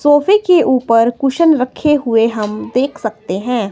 सोफे के ऊपर हम कुशन रखे हुए देख सकते हैं।